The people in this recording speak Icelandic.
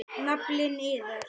Naflinn iðar.